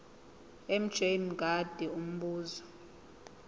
mj mngadi umbuzo